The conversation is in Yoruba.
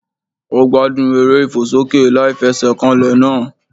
Ó gbádùn eré ìfòsókè láìfesèkanlè náà